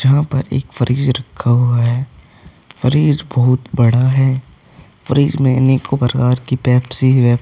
जहां पर एक फ्रिज रखा हुआ है फ्रिज बहोत बड़ा है फ्रिज में अनेको प्रकार की पेप्सी है।